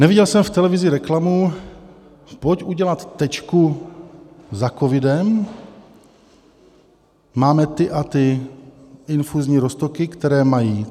Neviděl jsem v televizi reklamu - pojď udělat tečku za covidem, máme ty a ty infuzní roztoky, které mají...